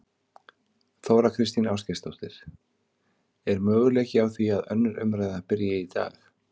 Þóra Kristín Ásgeirsdóttir: Er möguleiki á því að önnur umræða byrji í dag?